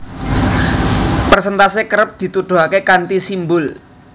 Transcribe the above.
Persèntase kerep dituduhaké kanthi simbul